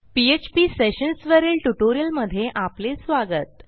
PHP sessions वरील ट्युटोरियलमधे आपले स्वागत